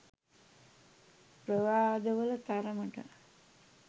ප්‍රවාද වල තරමට